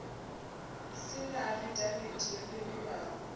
si na afidavithi yo fhindulwaho